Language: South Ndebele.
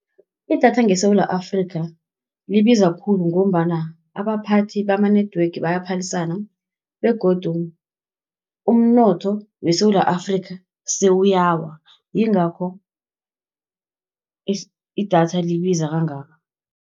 Idatha ngeSewula Afrika, libiza khulu ngombana abaphathi bama-network bayaphalisana, begodu umnotho weSewula Afrika sewuyawa, yingakho idatha libiza kangaka.